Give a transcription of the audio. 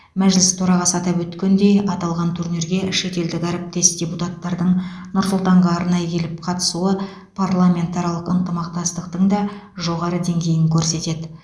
мәжіліс төрағасы атап өткендей аталған турнирге шетелдік әріптес депутаттардың нұр сұлтанға арнайы келіп қатысуы парламентаралық ынтымақтастықтың да жоғары деңгейін көрсетеді